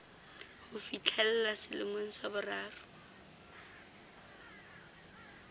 ho fihlella selemong sa boraro